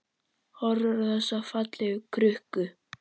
Horfir á þessa fallegu krukku.